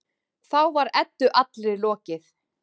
Þá var Eddu allri lokið.